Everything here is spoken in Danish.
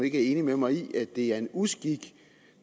ikke enig med mig i at det er en uskik